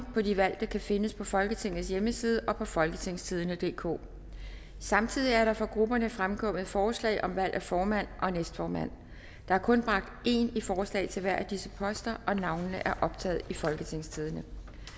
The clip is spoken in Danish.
på de valgte kan findes på folketingets hjemmeside og på folketingstidende DK samtidig er der fra grupperne fremkommet forslag om valg af formand og næstformand der er kun bragt én i forslag til hver af disse poster og navnene er optaget i folketingstidende